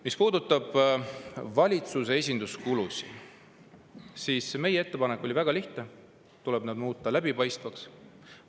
Mis puudutab valitsuse esinduskulusid, siis meie ettepanek oli väga lihtne: tuleb need muuta läbipaistvaks.